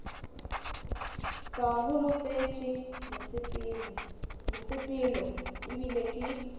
sa holofetše mosepelo ebile ke